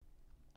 TV 2